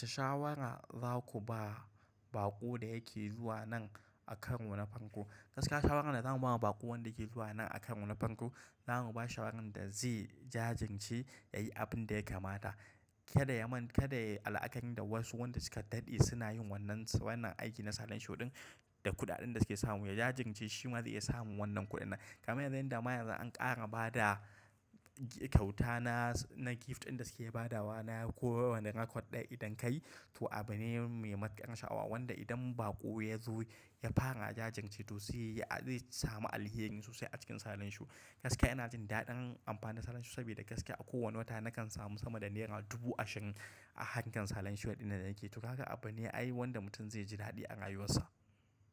Wace shawara za ku ba baƙo da yake zuwa nan a karo na farko? Gaskiya shawarar da zan ba wa baƙo dake zuwa nan a karo na farko, za mu ba shi shawarar da zai jajirce ya yi abin da ya kamata. Kada ya manta kada ya yi al akari da wasu wanda suka daɗe suna yin wannan wannan aiki na salon shodin da kuɗaɗin da suke samu. Ya jajirce shi ma zai iya samun wannan kuɗin nan. Kamar yanzu yanda ma yanzu an ƙara bada kyauta na, na gift ɗin da suke badawa na kowane rakud ɗaya idan kayi, to abune mai matuƙar sha'awa wanda idan baƙo ya zo ya fara jajirce to sai ya samu alheri sosai a cikin salon sho. Gaskiya ina jin daɗin amfani da salon sho saboda gaskiya a kowane wata nakan samu sama da naira dubu ashirin a harkar salon shu ɗin da nake yi. To haka abune ayi wanda mutum zai ji daɗi a rayuwar sa.